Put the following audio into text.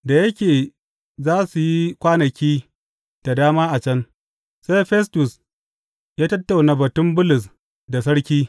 Da yake za su yi kwanaki da dama a can, sai Festus ya tattauna batun Bulus da sarki.